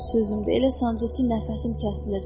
Bütün sözümdür, elə sancır ki, nəfəsim kəsilir.